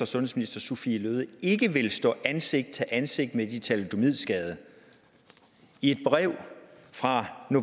sundhedsminister sophie løhde ikke ville stå ansigt til ansigt med de thalidomidskadede i et brev fra